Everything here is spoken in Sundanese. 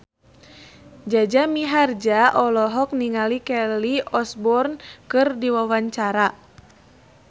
Jaja Mihardja olohok ningali Kelly Osbourne keur diwawancara